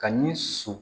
Ka ni su